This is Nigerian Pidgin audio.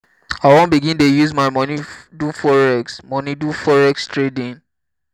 i wan begin dey use my moni do forex moni do forex trading.